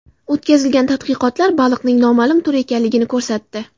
O‘tkazilgan tadqiqotlar baliqning noma’lum tur ekanligini ko‘rsatdi.